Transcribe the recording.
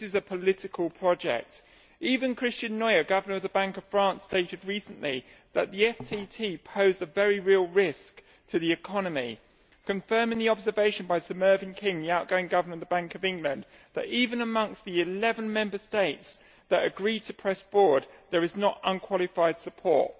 This is a political project. Even Christian Noyer, Governor of the Bank of France, stated recently that the FTT posed a very real risk to the economy, confirming the observation by Sir Mervyn King, the outgoing Governor of the Bank of England, that even amongst the 11 Member States that agreed to press forward, there is not unqualified support.